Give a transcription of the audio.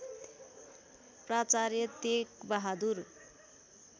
प्राचार्य तेक बहादुर